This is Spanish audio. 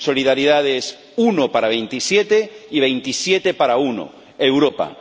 Solidaridad es uno para veintisiete y veintisiete para uno Europa.